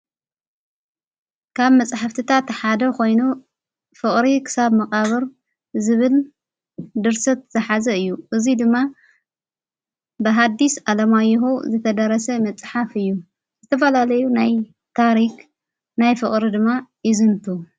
ካብ መጽሕፍትታ ተሓደ ኾይኑ ፍቕሪ ክሳብ መቓብር ዝብል ድርሰት ዝኃዘ እዩ እዙይ ድማ ብሃዲስ ዓለማይሁ ዘተደረሰ መጽሓፍ እዩ ዝተፈላለዩ ናይ ታሪኽ ናይ ፍቕሪ ድማ ይዘንቱ::